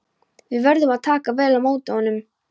Við verðum að taka vel á móti honum.